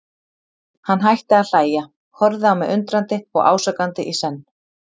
Hann hætti að hlæja, horfði á mig undrandi og ásakandi í senn.